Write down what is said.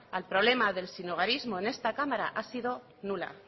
al problema del sinhogarismo en este cámara ha sido nula